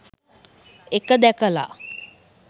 එක දැකලා